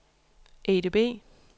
EDB